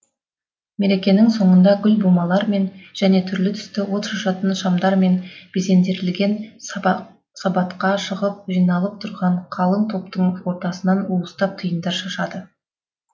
мерекенің соңында гүл бумалармен және түрлі түсті от шашатын шамдармен безендірілген сабатқа шығып жиналып тұрған қалың топтың ортасына уыстап тиындар шашады